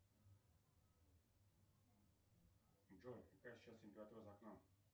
джой какая сейчас температура за окном